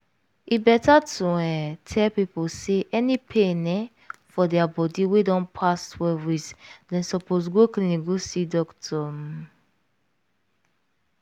e better to um tell pipo say any pain um for dia body wey don pass twelve weeks dem suppose go clinic go see doctor um